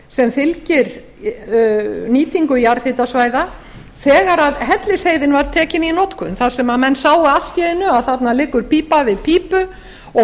sem fylgir nýtingu jarðhitasvæða þegar hellisheiðin var tekin í notkun þar sem menn sáu allt í einu að þarna liggur pípa við pípu og